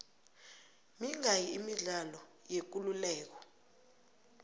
mingaki imidlalo yekuleleko